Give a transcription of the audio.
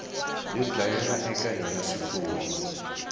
yo dlayela eka yona swifuwo